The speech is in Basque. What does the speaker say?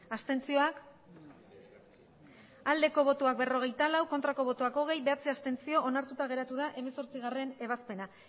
abstentzioa berrogeita lau bai hogei ez bederatzi abstentzio onartuta geratu da hemezortzigarrena ebazpena